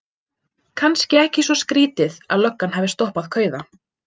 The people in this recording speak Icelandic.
Kannski ekki svo skrýtið að löggan hafi stoppað kauða.